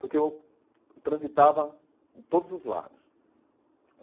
porque eu transitava em todos os lados.